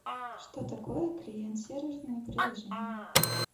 что такое клиент серверное приложение